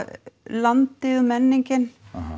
landið menningin